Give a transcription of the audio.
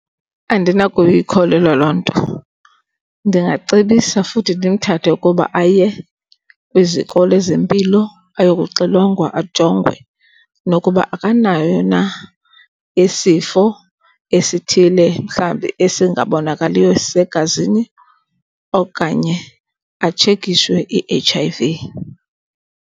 Andinakuyikholelwa loo nto. Ndingacebisa futhi ndimthathe ukuba aye kwiziko ezempilo ayo kuxilongelwa ajongwe nokuba akanayo na isifo esithile, mhlawumbi esingabonakaliyo esisegazini okanye atshekishwe i-H_I_V.